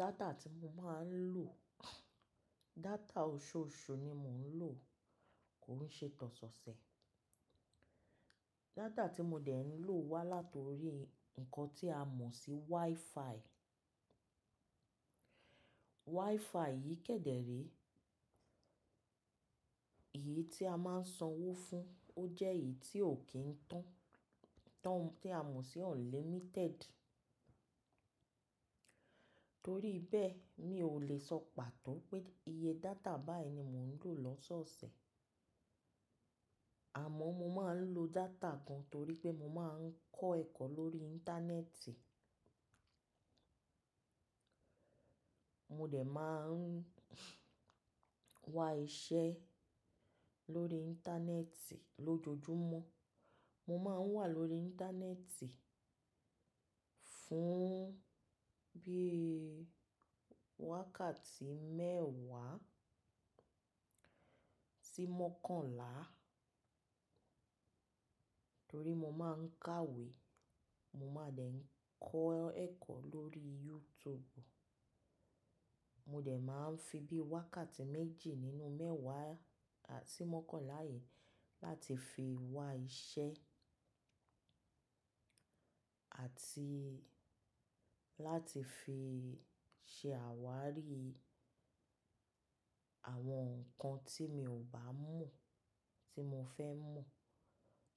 Data tí mo máa ń lò, data ọ̀ṣọ̀ọ̀ṣu ni mo ń lò, kò ń ṣe tọ̀ ṣọṣẹ. Data tí mo dẹ̀ ń lò wá látori ǹkan tí a mọ̀ sí WiFi. WiFi yìí kẹ́dẹ̀ re èyí tí a máa ń sanwó fún, ó jẹ́ èyí tí ò kí ń tán, tán tí a mọ̀ sí unlimited. Torí bẹ́ẹ̀, mi ò le sọ pàtó pé iye data báyìí ni mo ń lò lọ́sọọṣẹ. Àmọ́ mo máa ń lo data gan torípé mo máa ń kọ́ ẹ̀kọ́ lórí íńtánẹ́ẹ̀tì, mo dẹ̀ máa ń wá iṣẹ́ lórí íńtánẹ́ẹ̀tì lójoojúmọ́. Mo máa ń wà lórí íńtánẹ́ẹ̀tì fún bí i wákàtí mẹ́ẹ̀wá sí mọ́kànlá torí mo máa ń kàwé, mo máa dẹ̀ ń kọ́ ẹ̀kọ́ lórí YouTube. Mo dẹ̀ máa ń fi bí i wákàtí méjì nínú mẹ́ẹ̀wá àti mọ́kànlá yìí láti fi wá iṣẹ́ àti láti fi ṣe àwárí àwọn nǹkan tí mi ò bá mọ̀ tí mo fẹ́ mọ̀.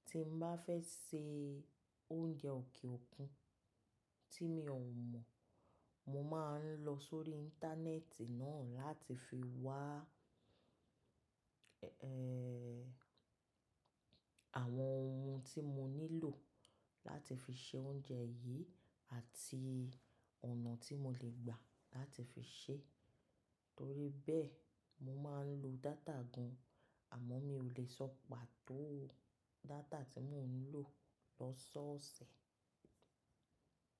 Tí mo bá fẹ́ ṣe oúnjẹ òkè òkun tí mi ò mọ̀, mo máa ń lọ sórí íńtánẹ́ẹ̀tì náà láti fi wá, ẹ́ẹ́, àwọn ohun tí mo nílò láti fi ṣe oúnjẹ yìí àti ọ̀nà tí mo lè gbà láti fi ṣe. Torí bẹ́ẹ̀, mo máa ń lo data gan, àmọ́ mi ò lè sọ pàtó data tí mo ń lò lọ́sọọṣẹ.